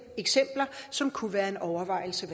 eksempler som kunne være en overvejelse